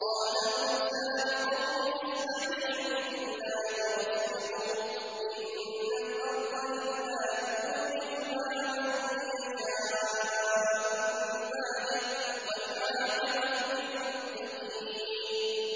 قَالَ مُوسَىٰ لِقَوْمِهِ اسْتَعِينُوا بِاللَّهِ وَاصْبِرُوا ۖ إِنَّ الْأَرْضَ لِلَّهِ يُورِثُهَا مَن يَشَاءُ مِنْ عِبَادِهِ ۖ وَالْعَاقِبَةُ لِلْمُتَّقِينَ